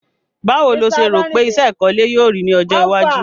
Báwo lo se rò pe isẹ́ ìkọ́lé yio rí ni ojó iwájú